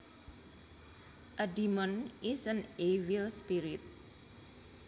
A demon is an evil spirit